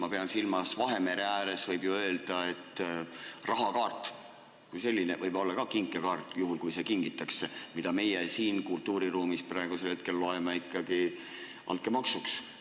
Ma pean silmas seda, et Vahemere ääres võib ju öelda, et rahakaart kui selline võib olla ka kinkekaart, juhul kui see kingitakse, aga meie siin kultuuriruumis loeme seda praegu ikkagi altkäemaksuks.